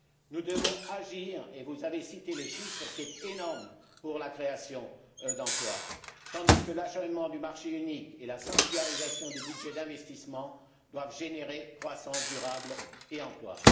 Nous devons agir et vous avez cité les chiffres, c'est énorme pour la création d'emplois, tandis que l'achèvement du marché unique et la sanctuarisation du budget d'investissement doivent générer croissance durable et emplois.